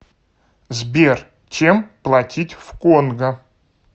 сбер чем платить в конго